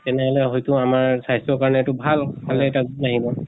তেনেহলে হয়্তু আমাৰ স্বাস্থ্যৰ কাৰণে এইটো ভাল। খালে তাত নাহিব।